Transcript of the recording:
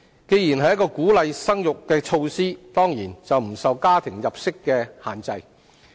既然是一項鼓勵生育的措施，當然不受家庭入息所限制。